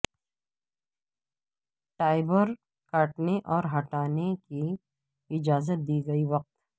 ٹائبر کاٹنے اور ہٹانے کی اجازت دی گئی وقت